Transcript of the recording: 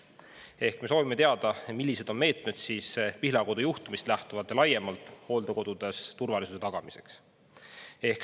Ehk me soovime teada, millised on Pihlakodu juhtumist lähtuvalt ja laiemalt meetmed hooldekodudes turvalisuse tagamiseks.